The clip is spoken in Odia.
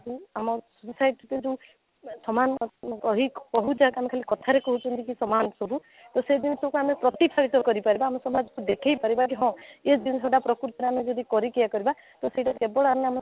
କୁ ଆମ society କୁ କିନ୍ତୁ ସମାନ କହି କହଉଛନ୍ତି ଖାଲି କଥାରେ କହୁଛନ୍ତି କି ସମାନ ସବୁ ତ ସେଇ ଜିନିଷକୁ ଆମେ ପ୍ରତୀକ ସହିତ କରି ପାରିବା ଆମେ ସମାଜକୁ ଦେଖେଇ ପାରିବା କି ହଁ ୟେ ଜିନିଷଟା ପ୍ରକୃତରେ ଯଦି ଆମେ କରି କି ୟେ କରିବା ତ ସେଇଟା କେବଳ ଆମ ମାନଙ୍କୁ